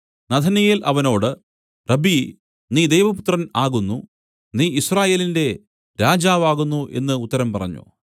നഥനയേൽ അവനോട് റബ്ബീ നീ ദൈവപുത്രൻ ആകുന്നു നീ യിസ്രായേലിന്റെ രാജാവ് ആകുന്നു എന്നു ഉത്തരം പറഞ്ഞു